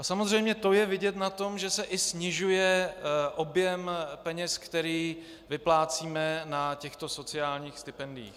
A samozřejmě to je vidět na tom, že se i snižuje objem peněz, které vyplácíme na těchto sociálních stipendiích.